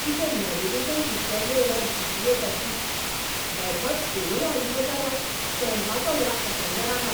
कितें navigation system रे ह्या जी.पी.एसा.ची! बेठोच कोणूय आयिल्लो जाल्यार शेणपाचो ह्या अटंग्या रानांत.